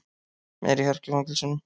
Meiri harka í fangelsunum